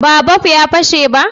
ba bob ya fashe ba?